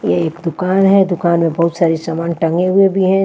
ये एक दुकान है दुकान में बहुत सारे समान टंगे हुए भी हैं।